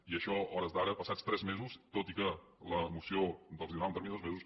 i això a hores d’ara passats tres mesos tot i que la moció els donava un termini de dos mesos